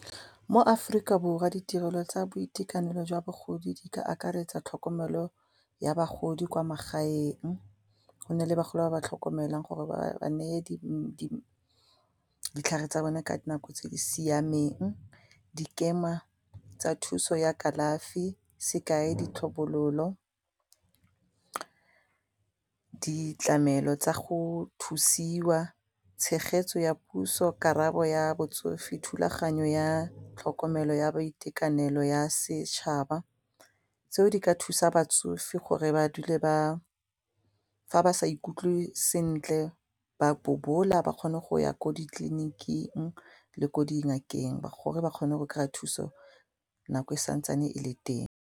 Mo Aforika Borwa ditirelo tsa boitekanelo jwa bagodi di ka akaretsa tlhokomelo ya bagodi kwa magaeng, gona le bagolo ba ba tlhokomelang gore ba ba neye ditlhare tsa bone ka dinako tse di siameng dikema tsa thuso ya kalafi sekai, ditlhobololo, ditlamelo tsa go thusiwa, tshegetso ya puso, karabo ya botsofe, thulaganyo ya tlhokomelo ya boitekanelo ya setšhaba tseo di ka thusa batsofe gore ba dule ba fa ba sa ikutlwe sentle ba bobola ba kgone go ya ko ditleliniking le ko dingakeng gore ba kgone go kry-a thuso nako e santsane e le teng.